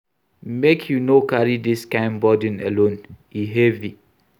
Make you no carry dis kain burden alone, e heavy.